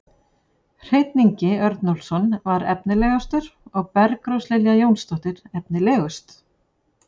Hreinn Ingi Örnólfsson var efnilegastur og Bergrós Lilja Jónsdóttir efnilegust.